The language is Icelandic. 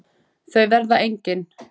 Þau verða engin.